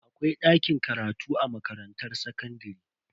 Akwai dakin karatu a makarantar sakandare.